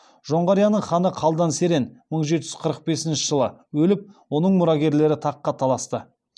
жоңғарияның ханы қалдан серен мың жеті жүз қырық бесінші жылы өліп оның мұрагерлері таққа таласты